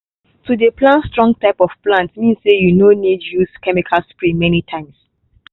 to dey plan strong type of plants mean say you no need use chemical spray many times.